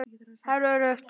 Það er öruggt.